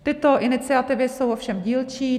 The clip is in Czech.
Tyto iniciativy jsou ovšem dílčí.